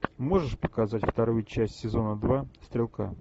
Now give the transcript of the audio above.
можешь показать вторую часть сезона два стрелка